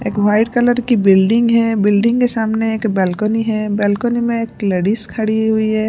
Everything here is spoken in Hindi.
एक व्हाइट कलर की बिल्डिंग है बिल्डिंग के सामने एक बालकनी है बालकनी में एक लेडिस खड़ी हुई है।